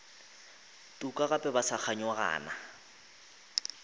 tuka gape ba sa kganyogana